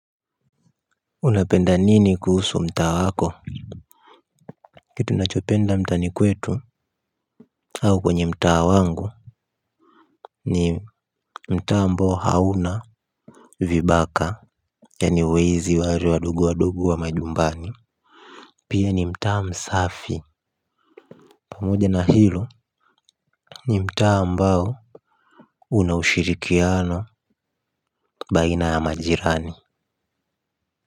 Unapenda nini kuhusu mtaa wako. Kitu nachopenda mtaani kwetu. Au kwenye mtaa wangu ni mtaa ambao hauna Vibaka. Yani wezi waare wadogo wadogo wa majumbani. Pia ni mtaa msafi. Pamoja na hilo ni mtaa ambao una ushirikiano baina ya majirani.